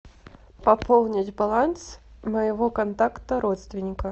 пополнить баланс моего контакта родственника